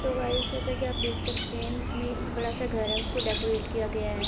Hello guys जैसा कि आप देख सकते हैं इसमें बड़ा सा घर है उसको डेकोरेट किया गया है।